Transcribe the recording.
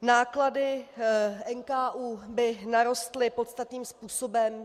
Náklady NKÚ by narostly podstatným způsobem.